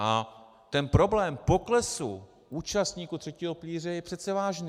A ten problém poklesu účastníků třetího pilíře je přece vážný.